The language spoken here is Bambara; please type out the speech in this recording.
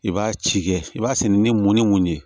I b'a ci kɛ i b'a sen ni mun ni mun ye